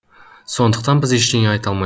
сондықтан біз ештеңе айта алмаймыз